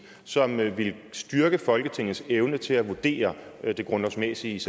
som ville styrke folketingets evne til at vurdere den grundlovsmæssige